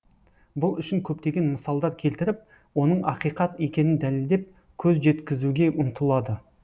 бұл үшін көптеген мысалдар келтіріп оның ақиқат екенін дәлелдеп көз жеткізуге ұмтылады